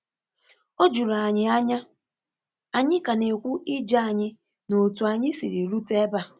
O juru ànyị ànyà! ànyị ka ná ekwu ije anyị ná otú anyị siri rute ebe a.